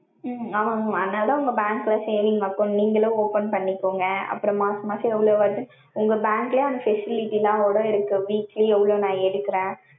உம் ஆமாங்க mam அதுனால தான் உங்க bank ல saving account நீங்களும் open பண்ணிகொங்க அப்புறம் மாச மாசம் எவ்ளோ வருது உங்க bank ல அந்த Facility யோட இருக்கு weekly நா எவ்ளோ எடுக்றேன்.